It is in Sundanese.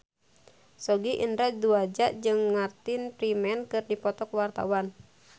Sogi Indra Duaja jeung Martin Freeman keur dipoto ku wartawan